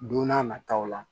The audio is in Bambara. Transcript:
Don n'a nataw la